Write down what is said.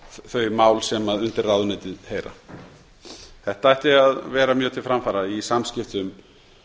þau mál sem undir ráðuneytin heyra þetta ætti að vera mjög til framfara í samskiptum